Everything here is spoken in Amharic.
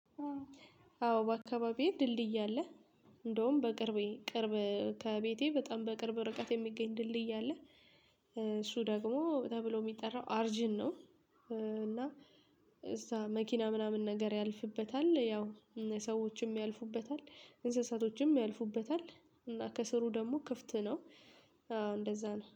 አዎ በአካባቢዬ ድልድይ አለ። እንደውም በቅርቤ ቅርብ ከቤቴ በጣም በቅርብ ርቀት የሚገኝ ድልድይ አለ። እሱ ደግሞ ተብሎ የሚጠራው አርጅን ነው። እና እሳ መኪና ምናምን ነገር ያልፍበታል ያው ሰዎችም ያልፉበታል እንስሳቶችም ያልፉበታል እና ከስሩ ደግሞ ክፍት ነው። እንደዛ ነው